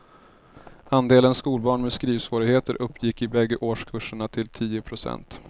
Andelen skolbarn med skrivsvårigheter uppgick i bägge årskurserna till tio procent.